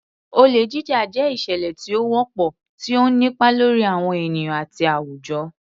Olè Jíjà jẹ́ ìṣẹ̀lẹ̀ tí ó wọ́pọ̀, tí ó ń nípa lórí àwọn ènìyàn àti àwùjọ.